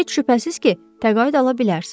Heç şübhəsiz ki, təqaüd ala bilərsiniz.